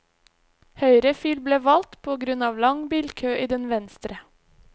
Høyre fil ble valgt på grunn av lang bilkø i den venstre.